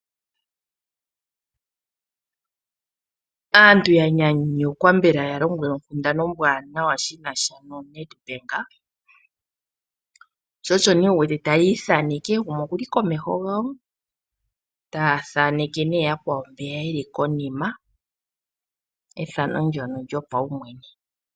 Aantu ya nyanyukwa mbela ya lombwelwa onkundana ombwaanawa shi na sha noNedbank. Osho nee wu wete taya ithaneke, gumwe oku li komeho gawo ta thaaneke nee yakwawo mboka ye li konima, ethano ndyoka lyopaumwene.